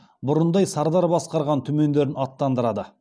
бұрындай сардар басқарған түмендерін аттандырады